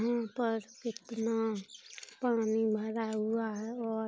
यहाँ पर कितना पानी भरा हुआ है और --